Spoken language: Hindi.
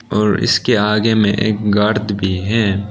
और इसके आगे में एक गर्त भी है।